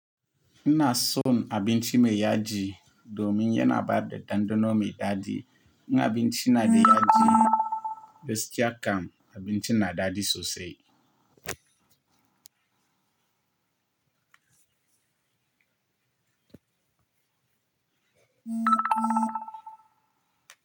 Ina son abinci mai yaji domin yana bada ɗanɗano mai daɗi. In abinci na da yaji, gaskiya kam abinci na daɗi sosai.